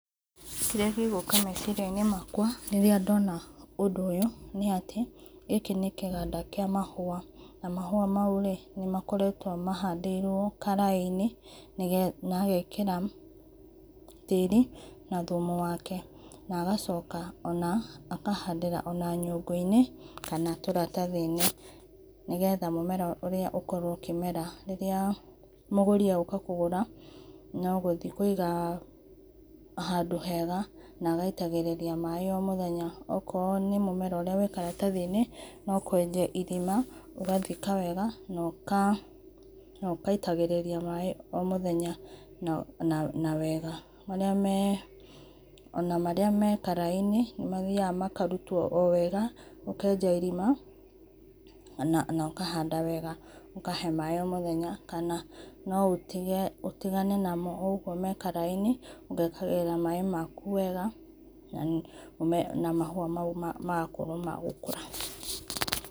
Kĩrĩa kĩgũka meciria-inĩ makwa rĩrĩa ndona ũndũ ũyũ, nĩ atĩ gĩkĩ nĩ kĩganda kĩa mahũa, na mahũa maũ nĩ makoretwo mahĩndĩrwo karĩ-inĩ na agaĩkĩra tĩri na thumu wake, na agacoka o na akahandĩra o na nyũngũ-inĩ kana tũratathi-inĩ, nĩgetha mũmera ũrĩa ũkorwo ũkĩmera rĩrĩa mũgũri egũka kũgũra no gũthiĩ kũiga handũ hega, na agaitagĩrĩria maĩ o mũthenya, okoro nĩ mũmera ũrĩa wĩ karatathi-inĩ no kũenja irima, ũgathĩka wega na ũgaitagĩrĩria maĩ o mũthenya na wega, o na marĩ ame karai-inĩ nĩ mathĩaga makarutwo o wega, ũkenja irima na ũkahanda wega, ũkahe maĩ o mũthenya, kana no ũtĩgane namo oũguo me karai-inĩ ũgekagĩrĩra maĩ makũ wega na mahũa maũ magakorwo ma gũkũra.